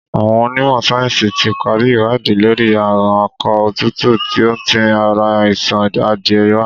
Àwọn ọnímọ̀ sáyẹ̀nsí ti pari ìwádìí lórí àrùn akọ òtútù tí ó ń ti ara àìsàn adìẹ wa.